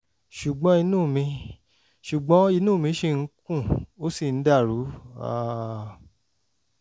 ṣùgbọ́n inú mi ṣùgbọ́n inú mi ṣì ń kùn ó sì ń dàrú um